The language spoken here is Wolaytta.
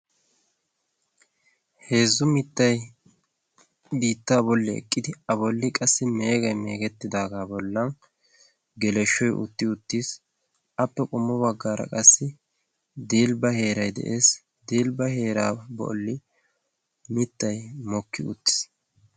Heezzu mittay biittaa bolli eqqidi a bolli qassi meegay meegetidaaga bolli geleshoy utti uttiis. appe qommo baggar qassi dibba heeray de'ees. dilbba heeran qassi mittay moki uttiis.